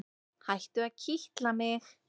Hættu að kitla mig.